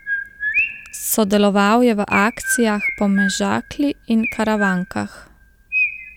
Sodeloval je v akcijah po Mežakli in Karavankah.